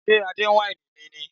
Ṣé Adé ń wáìnì mi ni?